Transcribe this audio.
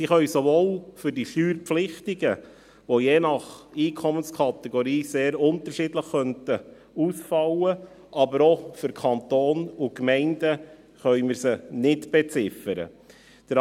Sie könnten sowohl für die Steuerpflichtigen je nach Einkommenskategorie sehr unterschiedlich ausfallen, als auch für den Kanton und die Gemeinden, wo wir sie nicht beziffern können.